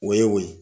O ye o ye